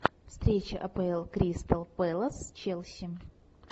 встреча апл кристал пэлас челси